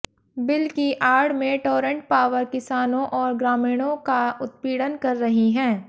bill की आड़ में टोरंट पावर किसानों और ग्रामीणों का उत्पीड़न कर रही हैं